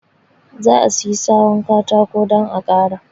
Zaa siyi sawu katakon dan a ƙara.